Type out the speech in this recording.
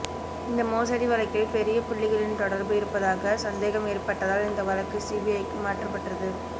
இந்த மோசடி வழக்கில் பெரிய புள்ளிகளின் தொடர்பு இருப்பதாக சந்தேகம் ஏற்பட்டதால் இந்த வழக்கு சிபிஐக்கு மாற்றப்பட்டது